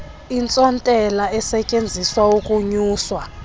intsontela esetyenziselwa ukunyusa